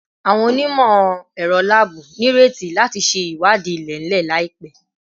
Awọn onimọ-ẹrọ laabu nireti lati ṣe iwadii ilẹ-ilẹ laipẹ